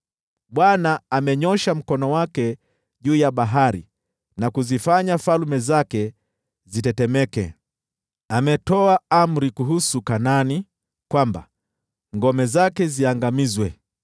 Bwana amenyoosha mkono wake juu ya bahari na kuzifanya falme zake zitetemeke. Ametoa amri kuhusu Kanaani kwamba ngome zake ziangamizwe.